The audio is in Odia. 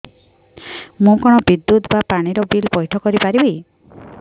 ମୁ କଣ ବିଦ୍ୟୁତ ବା ପାଣି ର ବିଲ ପଇଠ କରି ପାରିବି